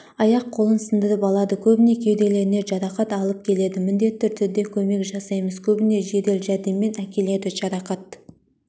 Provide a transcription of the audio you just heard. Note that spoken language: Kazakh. аяқ-қолын сындырып алады көбінде кеуделеріне жарақат алып келеді міндетті түрде көмек жасаймыз көбінде жедел-жәрдеммен әкеледі жарақат